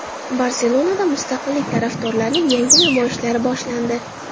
Barselonada mustaqillik tarafdorlarining yangi namoyishlari boshlandi.